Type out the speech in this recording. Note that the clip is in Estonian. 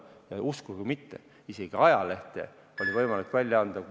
Ja uskuge või mitte, isegi ajalehte oli võimalik välja anda ...